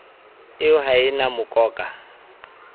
eo ha e na mokoka